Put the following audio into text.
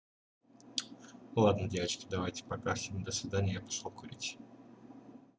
ладно девочки давайте пока всем до свидания я пошёл курить